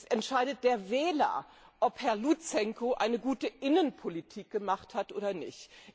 Es entscheidet der Wähler, ob Herr Luzenko eine gute Innenpolitik gemacht hat oder nicht.